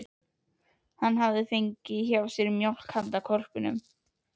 Hann hefði fengið hjá henni mjólk handa hvolpinum.